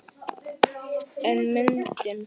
En myndin.